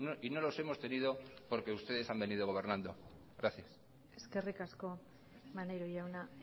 y no los hemos tenido porque ustedes han venido gobernando gracias eskerrik asko maneiro jauna